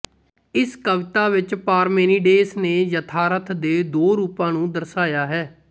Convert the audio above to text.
ਇਸ ਕਵਿਤਾ ਵਿੱਚ ਪਾਰਮੇਨੀਡੇਸ ਨੇ ਯਥਾਰਥ ਦੇ ਦੋ ਰੂਪਾਂ ਨੂੰ ਦਰਸਾਇਆ ਹੈ